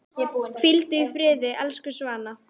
Hvíldu í friði, elsku Svana.